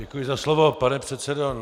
Děkuji za slovo, pane předsedo.